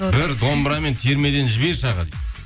бір домбырамен термеден жіберші аға дейді